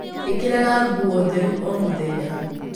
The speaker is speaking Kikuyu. ĩkĩraga nguo theru o mũthenya.